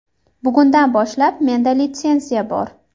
Bugundan boshlab menda litsenziya bor.